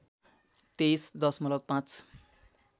२३ दशमलब ५